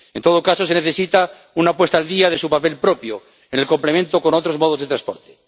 En todo caso, se necesita una puesta al día de su papel propio en complemento con otros modos de transporte.